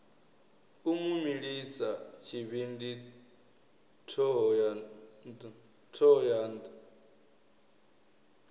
u mu milisa tshivhindi thohoyanḓ